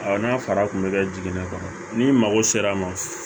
n'a fara kun bɛ kɛ jiginɛ kɔnɔ ni mago sera a ma